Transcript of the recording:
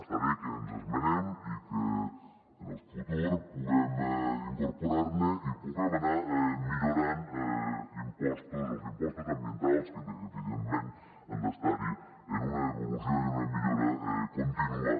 està bé que ens esmenem i que en el futur puguem incorporar ne i puguem anar millorant impostos els impostos ambientals que evidentment han d’estar hi en una evolució i en una millora contínua